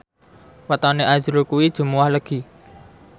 wetone azrul kuwi Jumuwah Legi